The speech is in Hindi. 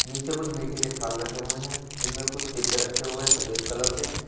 नीचे कुछ मीठे के थाल रखे हुए हैं जिनमे कुछ डिब्बे रखे हुए है सफेद कलर के।